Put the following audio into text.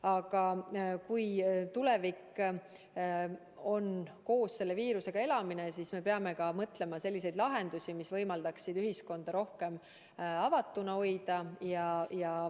Aga kui tulevikus tuleb meil koos selle viirusega elada, siis peame mõtlema välja selliseid lahendusi, mis võimaldaksid ühiskonda rohkem avatuna hoida.